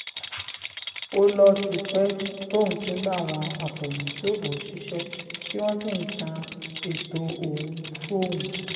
ó lọ ti pẹ́ tóun ti ń bá àwọn àfẹ̀míṣòfò ṣiṣẹ́ tí wọ́n sì ń san ètò òun fóun